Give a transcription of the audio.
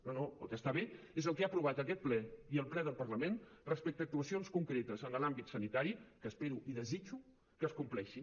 no no el que està bé és el que ha aprovat aquest ple i el ple del parlament respecte a actuacions concretes en l’àmbit sanitari que espero i desitjo que es compleixin